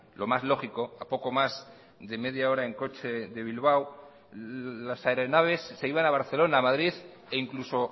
lo más lógico a poco más de media hora en coche de bilbao las aeronaves se iban a barcelona madrid e incluso